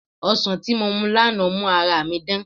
Ọsàn tí mo mu lánàá mú ara mi dán